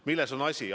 Milles on asi?